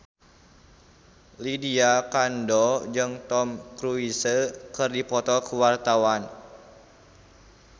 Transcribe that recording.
Lydia Kandou jeung Tom Cruise keur dipoto ku wartawan